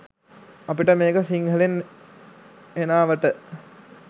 අපිට මේක සිංහලෙන් හෙනාවට